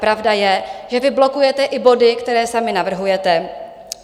Pravda je, že vy blokujete i body, které sami navrhujete.